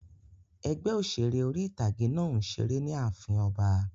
Ẹgbẹ́ òṣèré orí-ìtágé náà n ṣeré ni ààfin ọba